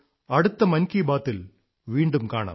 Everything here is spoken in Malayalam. അടുത്ത മൻ കീ ബാത് ൽ വീണ്ടും കാണാം